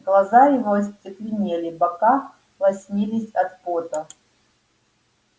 глаза его остекленели бока лоснились от пота